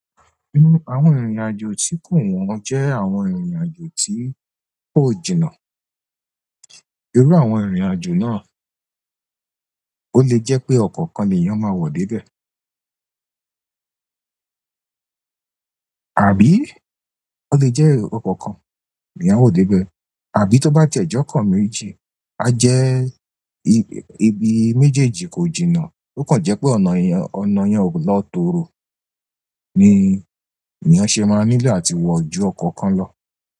Nú àwọn ìrìnàjò tí kò wọ̀n jẹ́ àwọn ìrìnàjò tí kò jìnnà. Iru àwọn ìrìnàjò náà, ó lè jẹ́ pé ọ̀kọ̀ kan l'èèyàn máa wọ dé be.- arbi ó lè jẹ́ ọ̀kọ̀ kan le èyàn a wọ̀ dé bẹ̀, àbí tó bá jẹ́ ọko méjì, a jẹ́ ibi méjèèjì kò jìnnà, ó kàn jẹ́ pé ọ̀nà yẹn ò lọ tóoro, ni èèyàn ṣé máa nílò àti wọ jú ọ̀kọ̀ kan lọ.